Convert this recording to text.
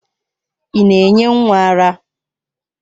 Ị na-enye nwa ara?